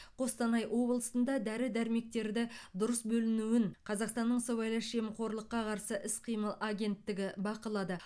қостанай облысында дәрі дәрмектерді дұрыс бөлінуін қазақстанның сыбайлас жемқорлыққа қарсы іс қимыл агенттігі бақылады